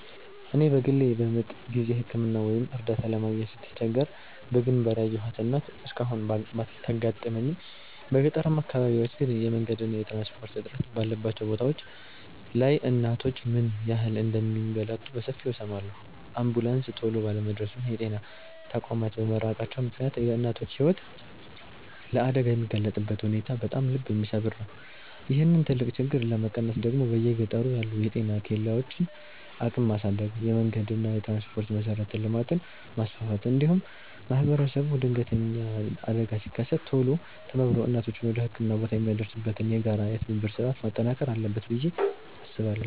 እኔ በግሌ በምጥ ጊዜ ሕክምና ወይም እርዳታ ለማግኘት ስትቸገር በግንባር ያየኋት እናት እስካሁን ባታጋጥመኝም፣ በገጠራማ አካባቢዎች ግን የመንገድና የትራንስፖርት እጥረት ባለባቸው ቦታዎች ላይ እናቶች ምን ያህል እንደሚንገላቱ በሰፊው እሰማለሁ። አምቡላንስ ቶሎ ባለመድረሱና የጤና ተቋማት በመራቃቸው ምክንያት የእናቶች ሕይወት ለአደጋ የሚጋለጥበት ሁኔታ በጣም ልብ የሚሰብር ነው። ይህንን ትልቅ ችግር ለመቀነስ ደግሞ በየገጠሩ ያሉ የጤና ኬላዎችን አቅም ማሳደግ፣ የመንገድና የትራንስፖርት መሠረተ ልማትን ማስፋፋት፣ እንዲሁም ማኅበረሰቡ ድንገተኛ አደጋ ሲከሰት ቶሎ ተባብሮ እናቶችን ወደ ሕክምና ቦታ የሚያደርስበትን የጋራ የትብብር ሥርዓት ማጠናከር አለበት ብዬ አምናለሁ።